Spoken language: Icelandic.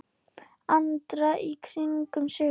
Andra í kringum sig.